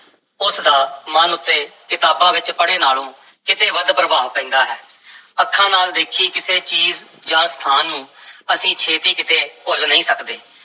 ਉਸ ਦਾ ਮਨ ਉੱਤੇ ਕਿਤਾਬਾਂ ਵਿੱਚ ਪੜ੍ਹੇ ਨਾਲੋਂ ਕਿਤੇ ਵੱਧ ਪ੍ਰਭਾਵ ਪੈਂਦਾ ਹੈ ਅੱਖਾਂ ਨਾਲ ਦੇਖੀ ਕਿਸੇ ਚੀਜ਼ ਜਾਂ ਸਥਾਨ ਨੂੰ ਅਸੀਂ ਛੇਤੀ ਕਿਤੇ ਭੁੱਲ ਨਹੀਂ ਸਕਦੇ,